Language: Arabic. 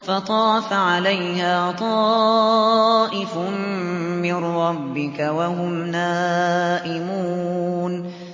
فَطَافَ عَلَيْهَا طَائِفٌ مِّن رَّبِّكَ وَهُمْ نَائِمُونَ